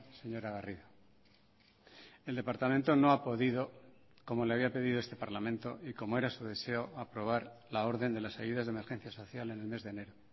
señora garrido el departamento no ha podido como le había pedido este parlamento y como era su deseo aprobar la orden de las ayudas de emergencia social en el mes de enero